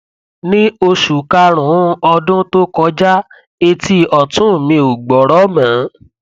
ní oṣù kárùnún ọdún tó kọjá etí ọtún mi ò gbọrọ mọ